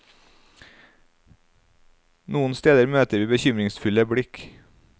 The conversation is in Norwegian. Noen steder møter vi bekymringsfulle blikk.